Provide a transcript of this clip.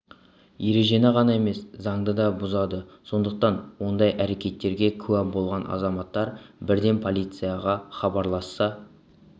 ережені ғана емес заңды да бұзады сондықтан ондай әрекеттерге куә болған азаматтар бірден полицияға іабарласса